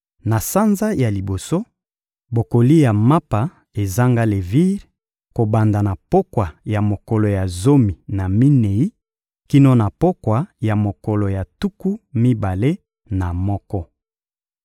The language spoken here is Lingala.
Na sanza ya liboso, bokolia mapa ezanga levire kobanda na pokwa ya mokolo ya zomi na minei kino na pokwa ya mokolo ya tuku mibale na moko.